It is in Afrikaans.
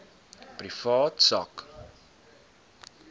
privaat sak